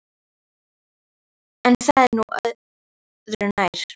En það er nú örðu nær.